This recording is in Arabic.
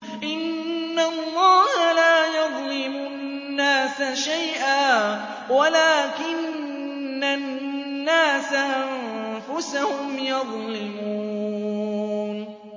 إِنَّ اللَّهَ لَا يَظْلِمُ النَّاسَ شَيْئًا وَلَٰكِنَّ النَّاسَ أَنفُسَهُمْ يَظْلِمُونَ